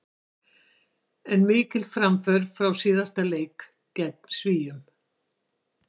En mikil framför frá síðasta leik gegn Svíum.